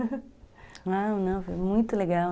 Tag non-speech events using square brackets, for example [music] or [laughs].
[laughs] Ah, não, não foi muito legal.